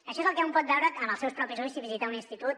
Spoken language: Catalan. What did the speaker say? això és el que un pot veure amb els seus propis ulls si visita un institut